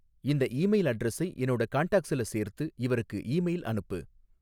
இந்த ஈமெயில் அட்ரஸை என்னோட காண்டாக்ஸ்ல சேர்த்து, இவருக்கு ஈமெயில் அனுப்பு